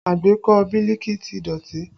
Agbékọ̀ Biliki ti dọ̀tí